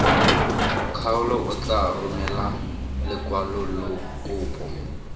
kgaolo o tla romela lekwalokopo